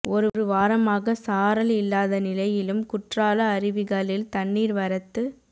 ஒரு வாரமாக சாரல் இல்லாத நிலையிலும் குற்றால அருவிகளில் தண்ணீர் வரத்து